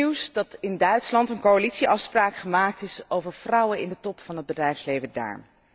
Het is goed nieuws dat in Duitsland een coalitieafspraak gemaakt is over vrouwen in de top van het bedrijfsleven daar.